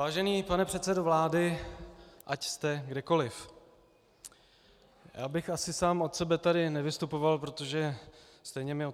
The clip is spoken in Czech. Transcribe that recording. Vážený pane předsedo vlády, ať jste kdekoliv, já bych asi sám od sebe tady nevystupoval, protože stejně mi